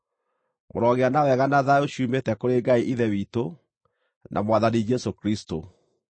Mũrogĩa na wega na thayũ ciumĩte kũrĩ Ngai Ithe witũ, na Mwathani Jesũ Kristũ.